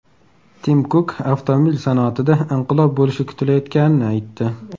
Tim Kuk avtomobil sanoatida inqilob bo‘lishi kutilayotganini aytdi.